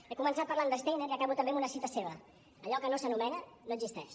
he començat parlant de steiner i acabo també amb una cita seva allò que no s’anomena no existeix